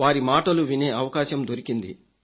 వారి మాటలు వినే అవకాశం దొరికింది